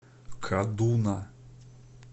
кадуна